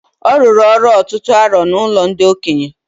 Ọ rụrụ ọrụ ọtụtụ arọ n'ụlọ ndị okenye